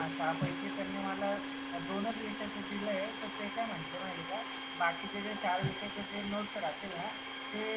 सहा पैकी त्यांनी माला दोनच विषयचं दिलय. ते काय म्हंटले माहिती आहे का बाकीचे जे चार विषयाचे नोट्स राहतील ना ते